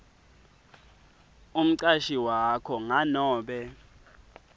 umcashi wakho nganobe